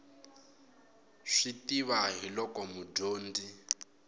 swi tiva hi loko mudyonzi